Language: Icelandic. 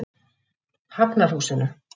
Hafnarhúsinu